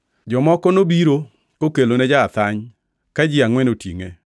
Jomoko nobiro kokelone ja-athany ka ji angʼwen otingʼe.